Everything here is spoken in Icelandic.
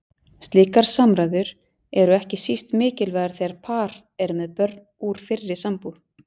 Slíkar samræður eru ekki síst mikilvægar þegar par er með börn úr fyrri sambúð.